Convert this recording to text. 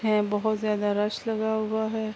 ہے بھوت جیادہ رش لگا ہوا ہے۔